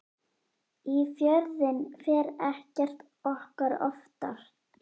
Í Fjörðinn fer ekkert okkar oftar.